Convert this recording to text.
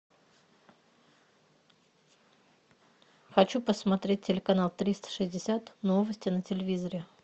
хочу посмотреть телеканал триста шестьдесят новости на телевизоре